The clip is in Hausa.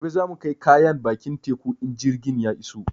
Gobe za mu kai kayan bakin teku in jirgin ya iso